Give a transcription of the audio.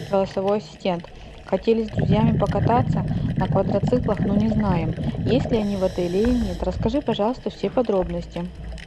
голосовой ассистент хотели с друзьями покататься на квадроциклах но не знаем есть ли они в отеле или нет расскажи пожалуйста все подробности